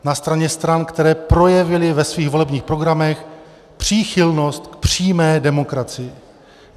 Na straně stran, které projevily ve svých volebních programech příchylnost k přímé demokracii.